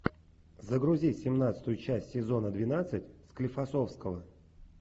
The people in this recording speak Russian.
загрузи семнадцатую часть сезона двенадцать склифосовского